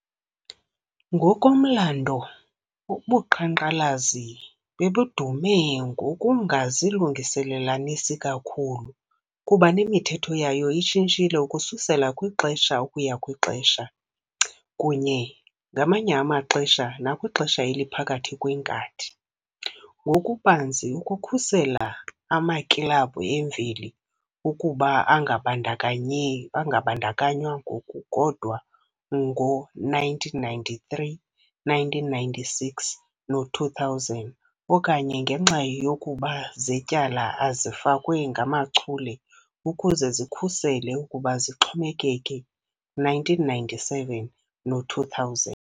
Ngokomlando, ubuqhankqalazi babedume ngokungazilungelelanisi kakhulu, kuba nemithetho yayo ishintshile ukususela kwixesha ukuya kwixesha, kunye ngamanye amaxesha nakwixesha eliphakathi kwenkathi, ngokubanzi ukukhusela amakilabhu emveli ukuba angabandakanye angabandakanywa, ngokukodwa ngo-1993, 1996 no-2000, okanye ngenxa yokuba Zetyala ezifakwe ngamachule ukuze zikhusele ukuba zixhomekeke, 1997 no-2000.